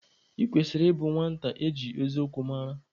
Ị kwesịrị ịbụ nwata eji eziokwu mara!